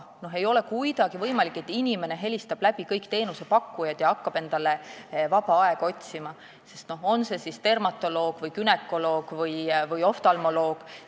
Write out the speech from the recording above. See ei ole aga kuidagi võimalik, et inimene hakkab kõiki teenusepakkujad läbi helistama ja endale vaba aega otsima, olgu dermatoloogi, günekoloogi või oftalmoloogi juurde.